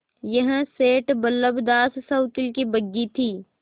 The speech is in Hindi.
यह सेठ बल्लभदास सवकील की बग्घी थी